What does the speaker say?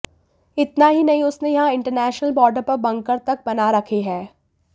इतना ही नहीं उसने यहां इंटरनेशनल बार्डर पर बंकर तक बना रखे है